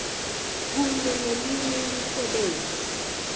kunye neminye imisebenzi